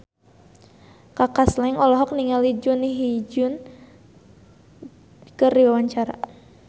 Kaka Slank olohok ningali Jun Ji Hyun keur diwawancara